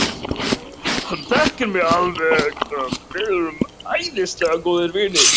Hann þekkir mig alveg, við erum æðislega góðir vinir.